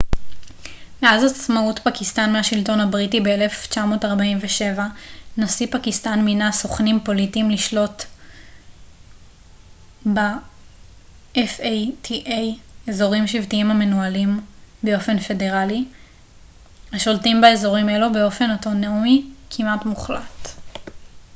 "מאז עצמאות פקיסטן מהשלטון הבריטי ב- 1947 נשיא פקיסטן מינה "סוכנים פוליטיים" לשלוט ב- fata אזורים שבטיים המנוהלים באופן פדרלי השולטים באזורים אלו באופן אוטונומי כמעט מוחלט.